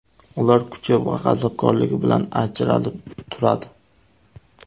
Ular kuchi va g‘azabkorligi bilan ajralib turadi.